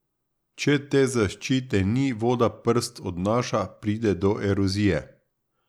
Če te zaščite ni, voda prst odnaša, pride do erozije.